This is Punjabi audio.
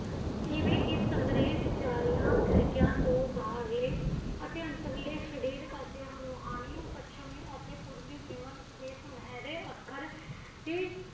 ਇਵੇ ਇਸ ਸੰਗ੍ਰੇਹ ਵਿੱਚ ਆਈਆ ਖਿੜਖੀਆਂ ਤੋ ਬਾਹਰਲੇ ਅਤੇ ਅੰਤਲੇ ਸਰੀਰਕ ਰੁਹਾਨੀ ਪੱਛਮੀ ਅਤੇ ਪੂਰਵੀ ਜੀਵਨ ਦੇ ਸੁਨਹਿਰੇ ਅੱਖਰ ਸੀ